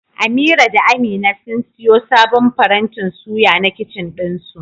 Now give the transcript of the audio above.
Amira da amina sun siyo sabon farantin suya na kicin ɗinsu.